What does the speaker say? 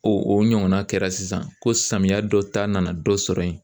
O o ɲɔgɔnna kɛra sisan ko samiya dɔ ta nana dɔ sɔrɔ ye.